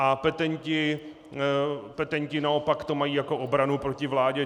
A petenti naopak to mají jako obranu proti vládě.